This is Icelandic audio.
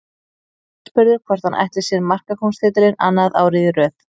Aðspurður hvort hann ætli sér markakóngstitilinn annað árið í röð.